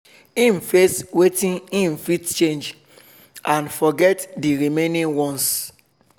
im face wetin im fit change and forget d remaining ones